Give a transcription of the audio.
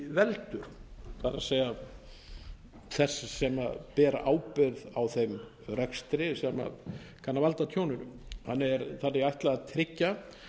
veldur það er þess sem ber ábyrgð á þeim rekstri sem kann að valda tjóninu henni er þannig ætlað að tryggja